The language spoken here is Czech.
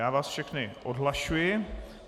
Já vás všechny odhlašuji.